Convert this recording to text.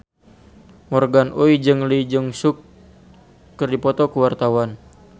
Morgan Oey jeung Lee Jeong Suk keur dipoto ku wartawan